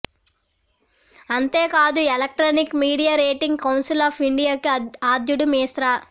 అంతేకాదు electronic media rating council of ఇండియాకి ఆద్యుడు మిశ్రా